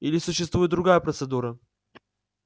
или существует другая процедура